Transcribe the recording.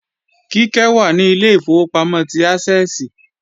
Kíkẹ́ wà ní Ilé ìfowópamọ́ ti Ásẹ́ẹ̀sì